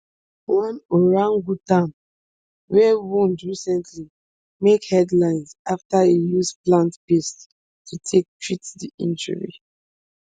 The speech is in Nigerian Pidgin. one orangutan wey wound recently make headlines afta e use plant paste to take treat di injury